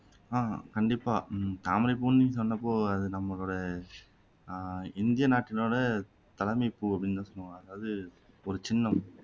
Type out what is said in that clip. ஹம் கண்டிப்பா உம் தாமரைப்பூன்னு சொன்னப்போ அது நம்மளோட அஹ் இந்திய நாட்டினோட தலைமைப்பூ அப்படின்னு சொல்லலாம் அதாவது ஒரு சின்னம்